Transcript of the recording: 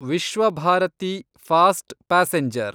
Vishwabharati fast passenger